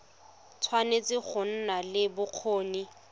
tshwanetse go nna le bokgoni